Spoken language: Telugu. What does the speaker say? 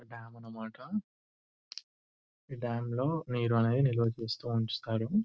ఒక డాం అన్నమాట ఈ డాం లో నీరు అనేది నిల్వచేసి ఉంచుతారు.